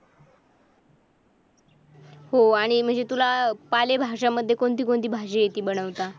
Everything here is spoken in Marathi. हो आणि म्हणजे तुला पालेभाज्यांमध्ये कोणती कोणती भाजी येथे बनवता?